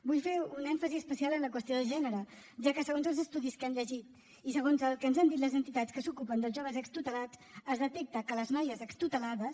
vull fer un èmfasi especial en la qüestió de gènere ja que segons els estudis que hem llegit i segons el que ens han dit les entitats que s’ocupen dels joves extutelats es detecta que les noies extutelades